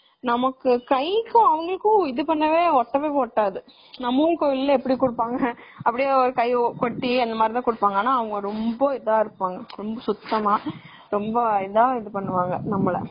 நம்ம கைக்கும் அதுக்கும் ஒட்டவே ஒட்டாது.நம்ம ஊரு கோவில்ல எப்படி குடுப்பாங்க ஒட்டி அந்தமாதிரி தான் குடுப்பாங்க.ஆனா அவங்க ரொம்ப இதா இருப்பாங்க சுத்தமா, ரொம்ப இதா இது பண்ணுவாங்க நம்மல.